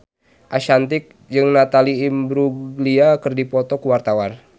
Ashanti jeung Natalie Imbruglia keur dipoto ku wartawan